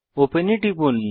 open এ টিপুন